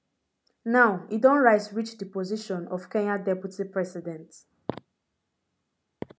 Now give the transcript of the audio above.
now e don rise reach di position of kenyan deputy president